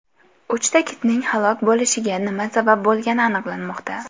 Uchta kitning halok bo‘lishiga nima sabab bo‘lgani aniqlanmoqda.